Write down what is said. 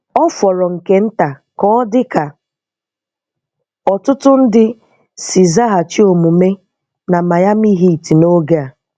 Ọ fọrọ nke nta ka ọ dị ka ọtụtụ ndị si zaghachi omume na Miami Heat n'oge a.